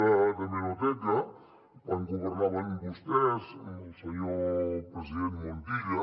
d’hemeroteca de quan governaven vostès amb el senyor president montilla